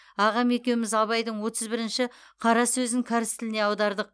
ағам екеуміз абайдың отыз бірінші қара сөзін кәріс тіліне аудардық